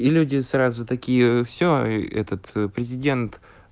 и люди сразу такие все этот президент